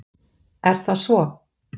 Er það svo?